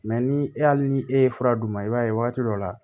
ni e hali ni e ye fura d'u ma i b'a ye waati dɔ la